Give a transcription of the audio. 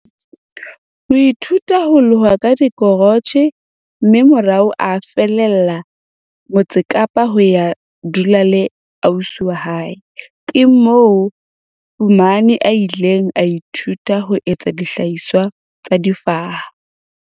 ithuta ho loha ka dikrotjhe mme morao a fallela Motse Kapa ho ya dula le ausi wa hae. Ke moo Fuma a ileng a ithuta ho etsa dihlahiswa tsa difaha,